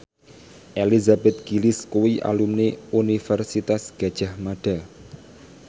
Elizabeth Gillies kuwi alumni Universitas Gadjah Mada